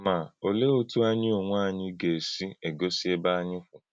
Ma, ọ̀leé otú ànyí onwé ànyí gà-èsí ègósí ébé ànyí kwù?